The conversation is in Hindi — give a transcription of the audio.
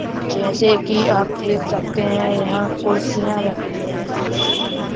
जैसे कि आप देख सकते हैं यहां कुर्सियां रखी हैं।